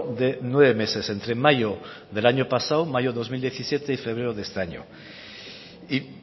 de nueve meses entre mayo del año pasado mayo dos mil diecisiete y febrero de este año y